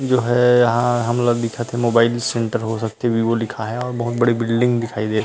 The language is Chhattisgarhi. जो है यहाँ हमन ल दिखत हे मोबाइल सेंटर हो सकथे वीवो लिखाए हे और बहुत बड़ी बिल्डिंग दिखाई देत --